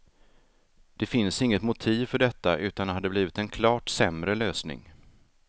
Det finns inget motiv för detta utan det hade blivit en klart sämre lösning.